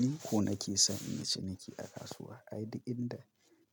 Ni ko nake son yin ciniki a kasuwa. Ai duk inda